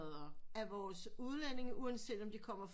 Af vores udlændinge uanset om de kommer fra